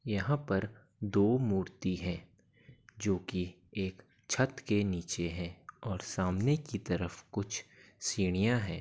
यहाँ पर दो मूर्ति है | जो की एक छत के नीचे है और सामने की तरफ कुछ सीढ़ियां है।